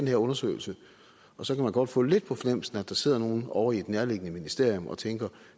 her undersøgelse og så kan man godt få lidt på fornemmelsen at der sidder nogle over i et nærliggende ministerium og tænker